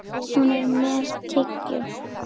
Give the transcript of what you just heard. Hún er með tyggjó.